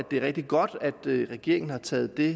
det er rigtig godt at regeringen har taget det